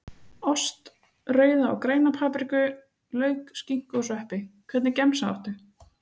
Ost, rauða og græna papriku, lauk, skinku og sveppi Hvernig gemsa áttu?